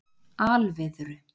Alviðru